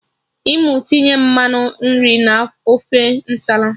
I mụ tinye mmanụ nri na ofe Nsala?